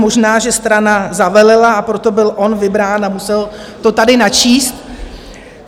Možná že strana zavelela, a proto byl on vybrán a musel to tady načíst.